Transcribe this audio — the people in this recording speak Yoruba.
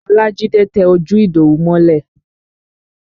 Olajide tẹ ojú Idowu mọ́lẹ̀